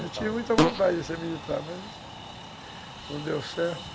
Eu tinha muita vontade de ser militar, mas não deu certo.